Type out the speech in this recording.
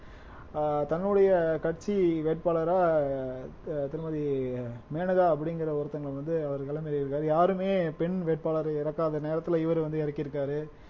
ஆஹ் தன்னுடைய கட்சி வேட்பாளரா அஹ் திருமதி மேனகா அப்படிங்கிற ஒருத்தவங்க அவர் களம் இறங்கி இருக்காரு யாருமே பெண் வேட்பாளரை இறக்காத நேரத்துல இவரு வந்து இறக்கியிருக்காரு